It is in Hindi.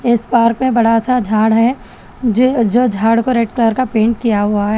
इस पार्क में बड़ा सा झाड़ है जो झाड़ को रेड कलर का पेंट किया हुआ है।